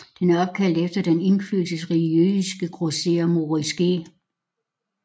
Den er opkaldt efter den indflydelsesrige jødiske grosserer Moritz G